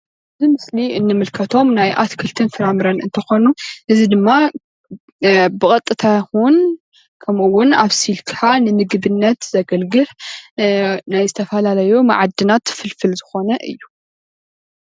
ኣብዚ ምስሊ እንምልከቶም ናይ ኣትክልትን ፍራፍረን እንትኾኑ እዚ ድማ ብቀጥታ ይኹን ኸምኡ ውን ኣብሲልካ ንምግብነት ዘገልግል ናይ ዝተፈላለዩ መዓድናት ፍልፍል ዝኾነ እዩ።